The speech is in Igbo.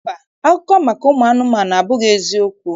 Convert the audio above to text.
Mba, akụkọ maka ụmụanụmanụ abụghị eziokwu